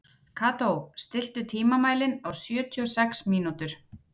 Kató, stilltu tímamælinn á sjötíu og sex mínútur.